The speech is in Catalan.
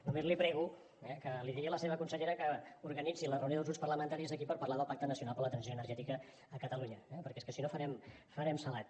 només li prego eh que li digui a la seva consellera que organitzi la reunió dels grups parlamentaris aquí per parlar del pacte nacional per a la transició energètica de catalunya eh perquè és que si no farem salat